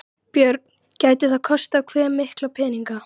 Björn: Gæti það kostað hve mikla peninga?